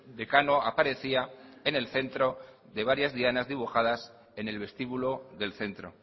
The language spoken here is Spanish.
decano aparecía en el centro de varias dianas dibujadas en el vestíbulo del centro